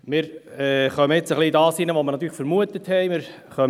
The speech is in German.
Wir geraten jetzt ein wenig in das hinein, was wir vermutet haben: